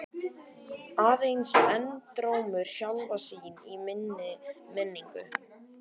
Aðeins endurómur sjálfra sín í minni minningu.